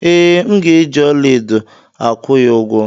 Ee, M ga-eji ọlaedo akụ ya ugwo.